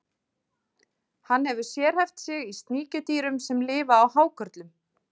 Hann hefur sérhæft sig í sníkjudýrum sem lifa á hákörlum.